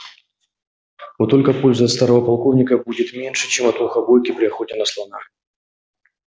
вот только пользы от старого полковника будет меньше чем от мухобойки при охоте на слона